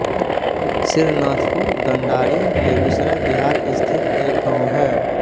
सिरनाथपुर दनडारी बेगूसराय बिहार स्थित एक गाँव है